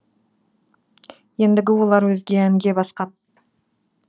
ендігі олар өзге әнге басқан